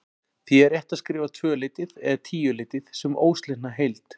Því er rétt að skrifa tvöleytið eða tíuleytið sem óslitna heild.